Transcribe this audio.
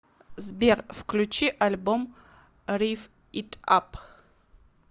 сбер включи альбом рив ит ап